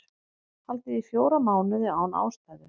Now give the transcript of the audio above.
Haldið í fjóra mánuði án ástæðu